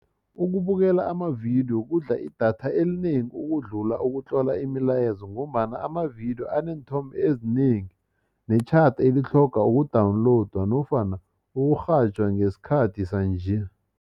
Ukubukela amavidiyo kudla idatha elinengi ukudlula ukutlola imilayezo ngombana amavidiyo aneenthombe ezinengi netjhada elitlhogwa uku-download nofana ukurhatjha ngesikhathi sanje.